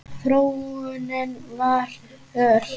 Þróunin var ör.